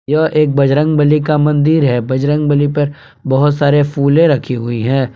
यह एक बजरंगबली का मंदिर है बजरंगबली पर बहुत सारे फुलें रखी हुई हैं।